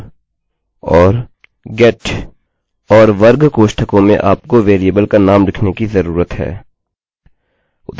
और वर्ग कोष्ठकों में आपको वेरिएबल का नाम लिखने की जरूरत है उदाहरणस्वरूप my name